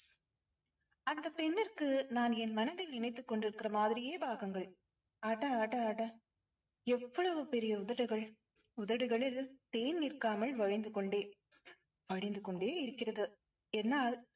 அந்தப் பெண்ணிற்கு நான் என் மனதில் நினைத்துக் கொண்டிருக்கிற மாதிரியே பாகங்கள். அட அட அட எவ்வளவு பெரிய உதடுகள். உதடுகளில் தேன் நிற்காமல் வழிந்து கொண்டே வடிந்து கொண்டே இருக்கிறது. என்னால்